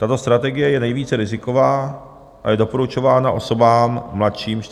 Tato strategie je nejvíce riziková a je doporučována osobám mladším 45 let.